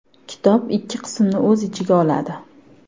Kitob ikki qismni o‘z ichiga oladi.